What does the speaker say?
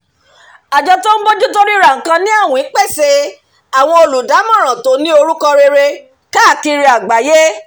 àjọ tó ń bójú tó ríra nǹkan ni àwìn pèsè àwọn olùdámọ̀ràn tó ní orúkọ rere káàkiri àgbáyé